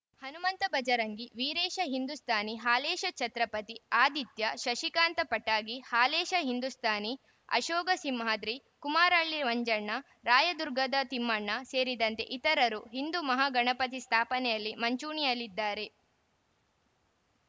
ಹನುಮಂತ ಬಜರಂಗಿ ವಿರೇಶ ಹಿಂದೂಸ್ಥಾನಿ ಹಾಲೇಶ ಚತ್ರಪತಿ ಆದಿತ್ಯ ಶಶಿಕಾಂತ ಪಟಗಿ ಹಾಲೇಶ ಹಿಂದೂಸ್ಥಾನಿ ಅಶೋಕ ಸಿಂಹಾದ್ರಿ ಕುಮಾರಳ್ಳಿ ಮಂಜಣ್ಣ ರಾಯದುರ್ಗದ ತಿಮ್ಮಣ್ಣ ಸೇರಿದಂತೆ ಇತರರು ಹಿಂದೂ ಮಹಾಗಣಪತಿ ಸ್ಥಾಪನೆಯಲ್ಲಿ ಮಂಚೂಣಿಯಲ್ಲಿದ್ದಾರೆ